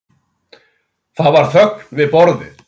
Það var þögn við borðið.